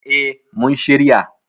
Eh mun shirya.